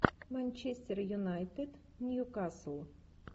манчестер юнайтед ньюкасл